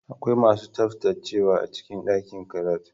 Akwai masu tsaftacewa a cikin ɗakin karatu.